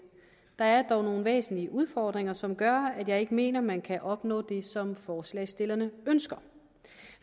der er dog nogle væsentlige udfordringer som gør at jeg ikke mener at man kan opnå det som forslagsstillerne ønsker